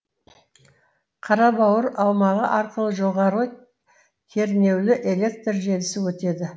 қарабауыр аумағы арқылы жоғары кернеулі электр желісі өтеді